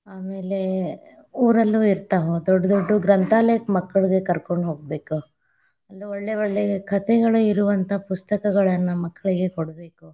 ಆಮೇಲೆ ಊರಲ್ಲೂ ಇರ್ತಾವ, ದೊಡ್ಡು ದೊಡ್ಡು ಗ್ರಂಥಾಲಯಕ್ಕ ಮಕ್ಕಳಿಗೆ ಕರಕೊಂಡ ಹೋಗಬೇಕ, ಅಲ್ಲೆ ಒಳ್ಳೆ ಒಳ್ಳೆ ಕಥೆಗಳು ಇರುವಂತಹ ಪುಸ್ತಕಗಳನ್ನ ಮಕ್ಲಿಗೆ ಕೊಡಬೇಕು.